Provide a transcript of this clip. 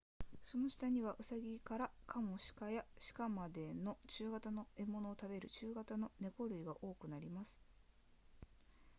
その下にはウサギからカモシカや鹿までの中型の獲物を食べる中型の猫類が多くなります